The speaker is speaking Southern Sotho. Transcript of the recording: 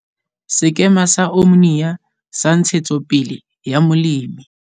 Sekema sa Omnia sa Ntshetsopele ya Molemi